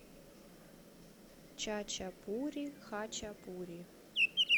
чача пури хачапури